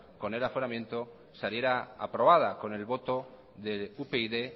con el aforamiento saliera aprobada con el voto de upyd